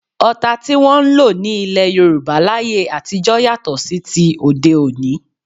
Ọta tí wọn ń lò ní ilẹ́ Yorùbá láyé àtijọ́ yàtọ̀ sí ti òde òní